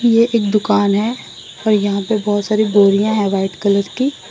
ये एक दुकान है और यहां पर बहुत सारी बोरियां है व्हाइट कलर की।